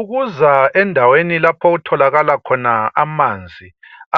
Ukuza endaweni lapho okutholakala khona amanzi